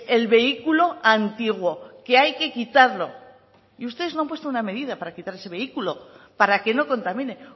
el vehículo antiguo que hay que quitarlo y ustedes no han puesto una medida para quitar ese vehículo para que no contamine